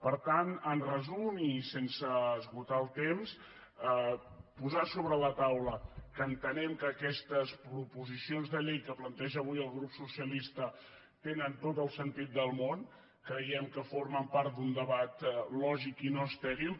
per tant en resum i sense esgotar el temps posar sobre la taula que entenem que aquestes proposicions de llei que planteja el grup socialista tenen tot el sentit del món creiem que formen part d’un debat lògic i no estèril